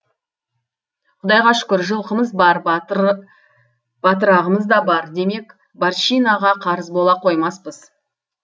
құдайға шүкір жылқымыз бар батырағымыз да бар демек барщинаға қарыз бола қоймаспыз